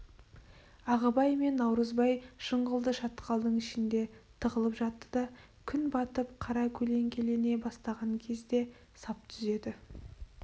ағыбай мен наурызбай жыңғылды шатқалдың ішінде тығылып жатты да күн батып қара көлеңкелене бастаған кезде сап түзеді